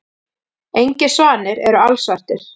Engir svanir eru alsvartir.